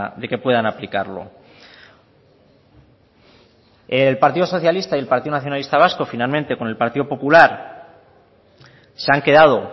de que puedan aplicarlo el partido socialista y el partido nacionalista vasco finalmente con el partido popular se han quedado